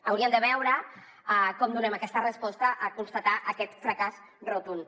hauríem de veure com donem aquesta resposta en constatar aquest fracàs rotund